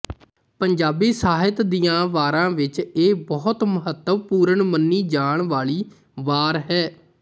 ਪੰਜਾਬੀ ਸਾਹਿਤ ਦੀਆਂ ਵਾਰਾਂ ਵਿੱਚ ਇਹ ਬਹੁਤ ਮਹੱਤਵਪੂਰਨ ਮੰਨੀ ਜਾਣ ਵਾਲੀ ਵਾਰ ਹੈ